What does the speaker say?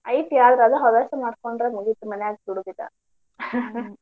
ಐತಿ ಆದ್ರೆ ಅದು ಹವ್ಯಾಸ ಮಾಡ್ಕೊಂಡ್ರ್ ಮುಗಿತ್ ಮನ್ಯಾಗ ಬಿಡುದಿಲ್ಲಾ.